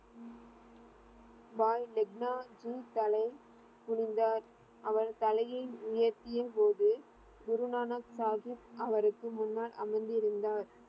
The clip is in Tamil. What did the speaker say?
பாய் லெக்னா ஜி தலை குனிந்தார். அவர் தலையை உயர்த்திய போது குரு நானக் சாகிப் அவருக்கு முன்னர் அமர்ந்திருந்தார்.